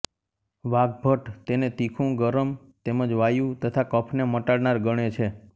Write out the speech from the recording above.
વાગ્ભટ તેને તીખું ગરમ તેમજ વાયુ તથા કફને મટાડનાર ગણે છે